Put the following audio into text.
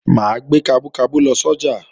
Mà á gbé kabú kabú lọ sọ́jà